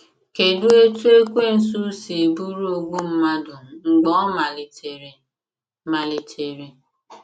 Kedụ etú Ekwensu si bụrụ “ ogbu mmadụ mgbe ọ malitere ”? malitere ”?